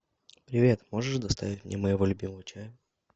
привет можешь доставить мне моего любимого чая